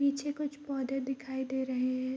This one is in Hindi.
पीछे कुछ पौधे दिखाई दे रहे हैं।